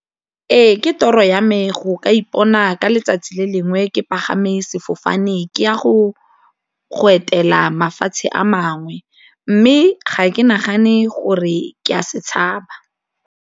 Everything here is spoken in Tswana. Ee ke toro ya me go ka ipona ka letsatsi le lengwe ke pagama sefofane ke ya go etela mafatshe a mangwe mme ga ke nagane gore ke a se tshaba.